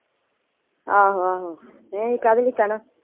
ਆਹੋ ਆਹੋ ਨਹੀਂ ਕਾਹਦੇ ਲਈ ਕਹਿਣਾ।